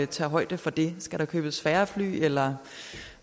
tage højde for det skal der købes færre fly eller